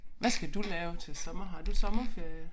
Hvad skal du lave til sommer har du sommerferie